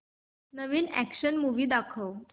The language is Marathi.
नवीन अॅक्शन मूवी दाखव